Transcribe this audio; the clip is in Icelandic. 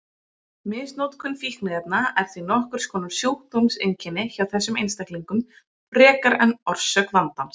Misnotkun fíkniefna er því nokkurs konar sjúkdómseinkenni hjá þessum einstaklingum frekar en orsök vandans.